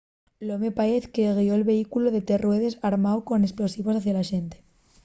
l’home paez que guió’l vehículu de tres ruedes armáu con esplosivos hacia la xente